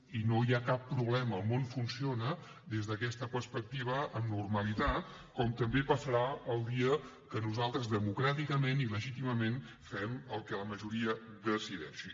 i no hi ha cap problema el món funciona des d’aquesta perspectiva amb normalitat com també passarà el dia que nosal tres democràticament i legítimament fem el que la majoria decideixi